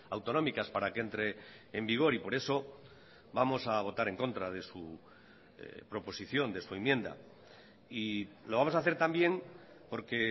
autonómicas para que entre en vigor y por eso vamos a votar en contra de su proposición de su enmienda y lo vamos a hacer también porque